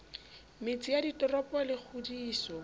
metse ya ditoropo le kgodiso